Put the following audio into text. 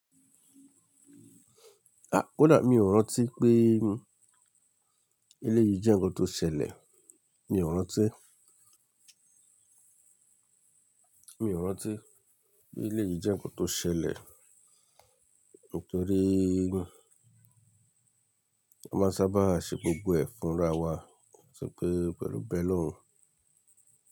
À, kódà mi ò rántí pé eléyìí jẹ́ ǹkan tó ṣẹlẹ̀, mi ò rántí. Mi ò rántí pé eléyìí jẹ́ ǹkan tó ṣẹlẹ̀ nítorí a máa sábà ṣe gbogbo ẹ̀ fúnra wa, ati pẹ́ pẹ̀lú be oloun.